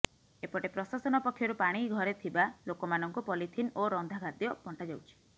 ଏପଟେ ପ୍ରଶାସନ ପକ୍ଷରୁ ପାଣିଘରେ ଥିବା ଲୋକମାନଙ୍କୁ ପଲିଥିନ୍ ଓ ରନ୍ଧାଖାଦ୍ୟ ବଣ୍ଟାଯାଉଛି